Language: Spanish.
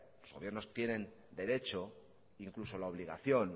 los gobiernos tienen derecho incluso la obligación